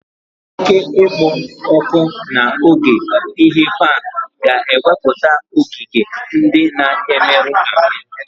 Oke ikpo ọkụ n'oge ighe pan ga-ewepụta ogige ndị na-emerụ ahụ